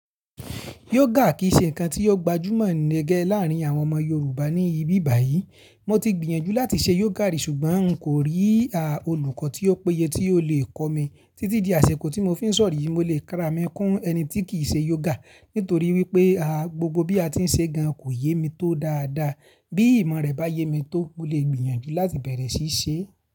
Yóògà kì í ṣe nǹkan tí ó gbajúmọ̀ ní gẹ́ láàrín àwọn ọmọ Yorùbá ní ibí báyìí. Mo ti gbìyànjú láti ṣe yóògà rí ṣùgbọ́n n kò rí olùkọ́ tí ó péye tí yóò lè kọ́ mi. Títí di àsẹ̀kọ̀ tí mo fi ń sọ̀rọ̀ yìí, mo lè kara mi kún ẹni tí kìí ṣe yóògà nítorí wípé, gbogbo bí a ti ń ṣe gan kò yé mi tó dáadáa. Bí ìmọ̀ rẹ̀ bá yé mi tó, mo lè gbìyànjú láti bẹ̀rẹ̀ sí í ṣe é.